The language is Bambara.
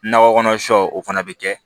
Nakɔ kɔnɔ sɔ o fana bɛ kɛ